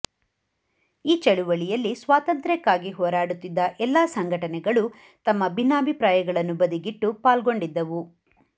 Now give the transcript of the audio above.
ಈ ಚಳವಳಿಯಲ್ಲಿ ಸ್ವಾತಂತ್ರ್ಯಕ್ಕಾಗಿ ಹೋರಾಡುತ್ತಿದ್ದ ಎಲ್ಲ ಸಂಘಟನೆಗಳೂ ತಮ್ಮ ಭಿನ್ನಾಭಿಪ್ರಾಯಗಳನ್ನು ಬದಿಗಿಟ್ಟು ಪಾಲ್ಗೊಂಡಿದ್ದವು